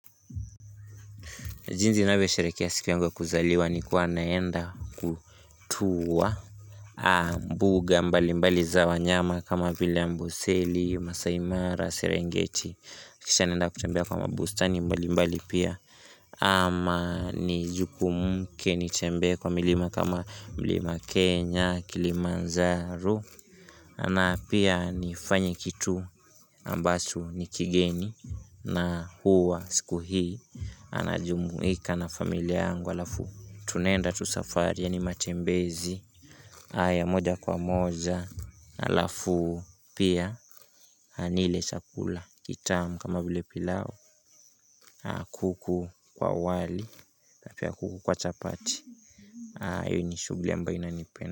Jinsi ninavyosherehekea siku yangu ya kuzaliwa ni kuwa naenda kutua mbuga mbalimbali za wanyama kama bila Amboseli, Masaimara, Serengeti Kisha naenda kutembea kwa mabustani mbalimbali pia ama ni jukumke nitembee kwa milima kama mlima Kenya, Kilimanjaro, ama pia nifanye kitu ambacho ni kigeni na huwa siku hii Anajumuika na familia yangu halafu tunaenda tu safari yaani matembezi aya moja kwa moja halafu pia na nile chakula kitamu kama vile pilau, kuku kwa wali na pia kuku kwa chapati hayo ni shughuli ambayo inanipen.